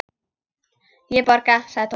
Ég borga, sagði Tóti.